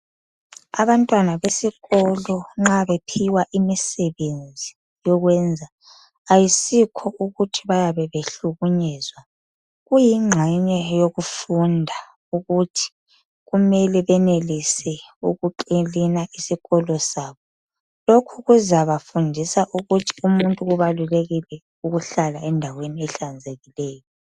Abantwana besikolo nxa bephiwa imisebenzi yokwenza, ayisikho ukuthi bayabe behlukunyezwa, kuyinqxenye yokufunda ukuthi kumele benelise ukukilina isikolo sabo. Lokhu kuzabafundisa ukuthi umuntu kubalulekile ukuhlala endaweni ehlanzekileyo.